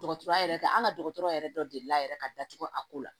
Dɔgɔtɔrɔya yɛrɛ an ka dɔgɔtɔrɔ yɛrɛ dɔ deli la yɛrɛ ka datugu a ko la